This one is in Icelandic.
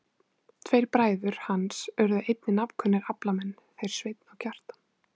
Tveir bræður hans urðu einnig nafnkunnir aflamenn, þeir Sveinn og Kjartan.